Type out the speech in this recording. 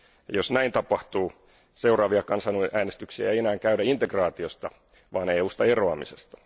Jos näin tapahtuu, seuraavia kansanäänestyksiä ei enää käydä integraatiosta vaan EUsta eroamisesta.